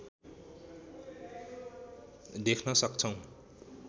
देख्न सक्छौँ